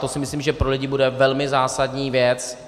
To si myslím, že pro lidi bude velmi zásadní věc.